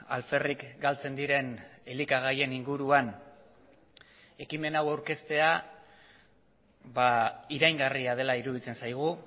alferrik galtzen diren elikagaien inguruan ekimen hau aurkeztea iraingarria dela iruditzen zaigu